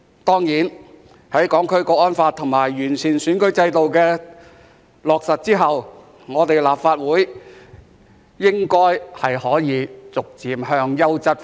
當然，在《香港國安法》和完善選舉制度落實後，立法會應該可以逐漸轉向優質化。